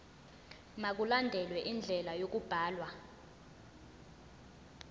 mkulandelwe indlela yokubhalwa